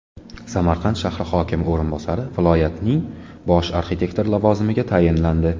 Samarqand shahri hokimi o‘rinbosari viloyatning bosh arxitektori lavozimiga tayinlandi.